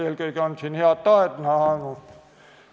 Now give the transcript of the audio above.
Eelkõige on siin head tahet näha olnud.